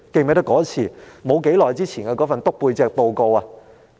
還記得不久前那份"篤背脊"報告嗎？